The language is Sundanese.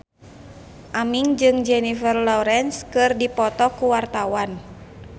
Aming jeung Jennifer Lawrence keur dipoto ku wartawan